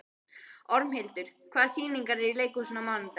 Ormhildur, hvaða sýningar eru í leikhúsinu á mánudaginn?